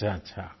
अच्छाअच्छा